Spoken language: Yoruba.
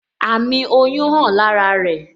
Àmì oyún hàn lára rẹ